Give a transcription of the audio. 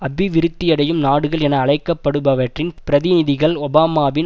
அபிவிருத்தியடையும் நாடுகள் என அழைக்கப்படுபவற்றின் பிரதிநிதிகள் ஒபாமாவின்